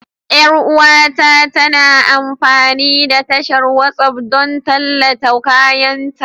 Yar uwata tana amfani da tashar WhatsApp don tallata kayanta